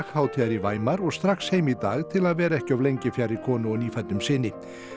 hátíðar í Weimar og strax heim í dag til að vera ekki of lengi fjarri konu og nýfæddum syni